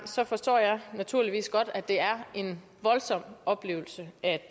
forstår jeg naturligvis godt at det er en voldsom oplevelse at